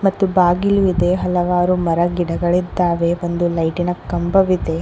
ಮತ್ತು ಬಾಗಿಲು ಇದೆ ಹಲವಾರು ಮರ ಗಿಡಗಳು ಇದ್ದಾವೆ ಒಂದು ಲೈಟ್ ಇನ ಕಂಬವಿದೆ.